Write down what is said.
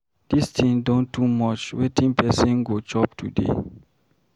Dis thing don too much. Wetin person go chop today?